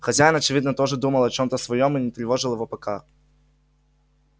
хозяин очевидно тоже думал о чем-то своём и не тревожил его пока